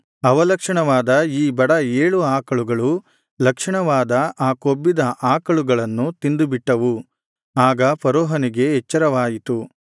ಅವಲಕ್ಷಣವಾದ ಈ ಬಡ ಏಳು ಆಕಳುಗಳು ಲಕ್ಷಣವಾದ ಆ ಕೊಬ್ಬಿದ ಆಕಳುಗಳನ್ನು ತಿಂದು ಬಿಟ್ಟವು ಆಗ ಫರೋಹನಿಗೆ ಎಚ್ಚರವಾಯಿತು